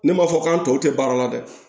Ne m'a fɔ k'an tɔw tɛ baara la dɛ